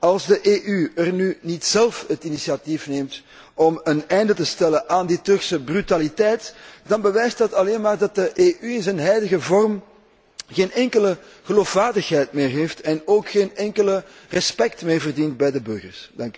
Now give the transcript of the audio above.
Als de EU nu niet zelf het initiatief neemt om een einde te maken aan die Turkse brutaliteit, dan bewijst dat alleen maar dat de EU in haar huidige vorm geen enkele geloofwaardigheid meer heeft en ook geen enkel respect meer verdient bij de burgers.